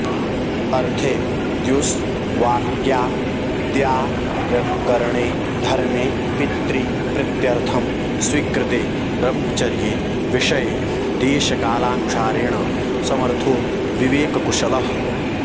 अर्थे द्युस्वाक्याद्दारकरणे धर्मे पितृप्रीत्यर्थं स्वीकृते ब्रह्मचर्ये विषये देशकालानुसारेण समर्थो विवेककुशलः